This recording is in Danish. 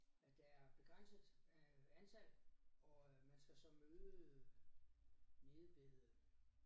At der er begrænset øh antal og man skal så møde nede ved